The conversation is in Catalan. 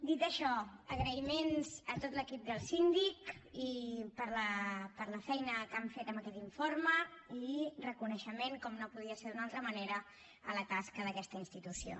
dit això agraïments a tot l’equip del síndic per la feina que han fet amb aquest informe i reconeixement com no podia ser d’una altra manera a la tasca d’aquesta institució